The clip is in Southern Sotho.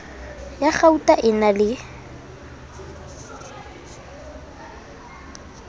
ya kgauta e na le